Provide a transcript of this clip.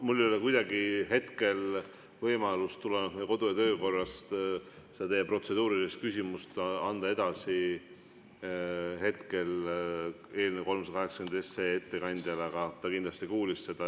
Mul ei ole hetkel kuidagi võimalik tulenevalt meie kodu‑ ja töökorrast teie protseduurilist küsimust eelnõu 380 ettekandjale edasi anda, aga ta kindlasti kuulis seda.